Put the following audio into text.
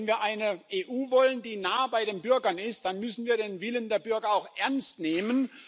Wenn wir eine EU wollen, die nah bei den Bürgern ist, dann müssen wir den Willen der Bürger auch ernst nehmen.